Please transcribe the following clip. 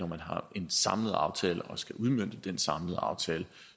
man har en samlet aftale og skal udmønte den samlede aftale